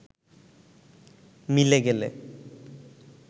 মিলে গেলে